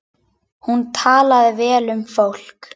Hún talaði vel um fólk.